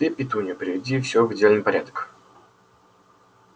ты петунья приведи всё в идеальный порядок